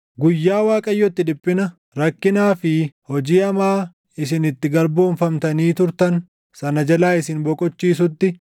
Guyyaa Waaqayyo itti dhiphina, rakkinaa fi hojii hamaa isin itti garboomfamtanii turtan sana jalaa isin boqochiisutti,